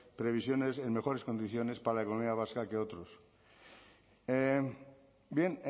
previsiones en mejores condiciones para la economía vasca que otros bien